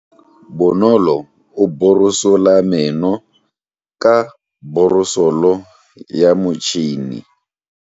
Bonolo o borosola meno ka borosolo ya motšhine.